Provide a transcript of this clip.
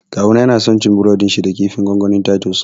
Kawuna yana son cin burodin shi da kifin gongoni na Titus